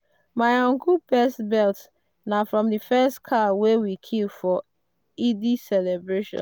my uncle belt na from the first cow wey we kill for eid celebration.